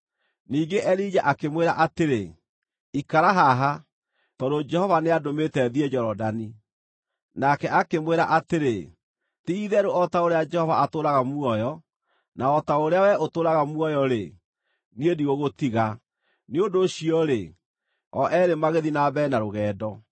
Ningĩ Elija akĩmwĩra atĩrĩ, “Ikara haha, tondũ Jehova nĩandũmĩte thiĩ Jorodani.” Nake akĩmwĩra atĩrĩ, “Ti-itherũ o ta ũrĩa Jehova atũũraga muoyo, na o ta ũrĩa wee ũtũũraga muoyo-rĩ, niĩ ndigũgũtiga.” Nĩ ũndũ ũcio-rĩ, o eerĩ magĩthiĩ na mbere na rũgendo.